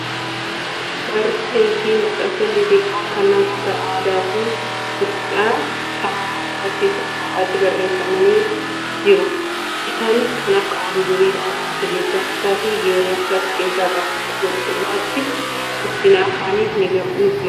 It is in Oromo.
Barruulee fi maxxansoonni xixiqqoon kan namoota aadaa fi duudhaa Saba oromoo barsiisuun kophaatti barreeffama ni jiru. Isaanis kan akka oduu durii , mammaaksa, jechamootaa fi geerarsa of keessaa qabu. Kun dhugaatti guddina afaaniif ni gumaacha.